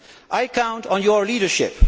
I count on your leadership.